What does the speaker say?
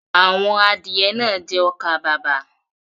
Àwọn adìẹ náà jẹ ọkà-bàbà.